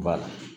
Ba